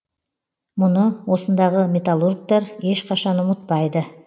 мұны осындағы металлургтер ешқашан ұмытпайды